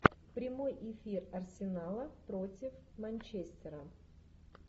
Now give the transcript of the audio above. прямой эфир арсенала против манчестера